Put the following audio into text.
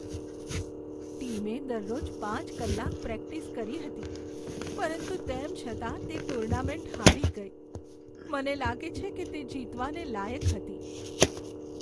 ટીમે દરરોજ પાંચ કલાક પ્રેક્ટિસ કરી હતી પરંતુ તેમ છતાં તે ટુર્નામેન્ટ હારી ગઈ. મને લાગે છે કે તે જીતવાને લાયક હતી.